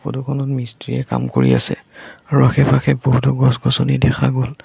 Photo খনত মিষ্ট্ৰি য়ে কাম কৰি আছে আৰু আশে-পাশে বহুতো গছ-গছনি দেখা গ'ল।